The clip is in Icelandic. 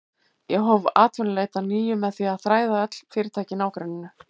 Ég hóf atvinnuleit að nýju með því að þræða öll fyrirtæki í nágrenninu.